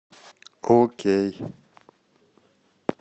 окей